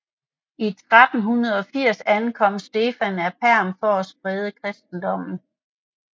I 1380 ankom Stefan af Perm for at sprede kristendommen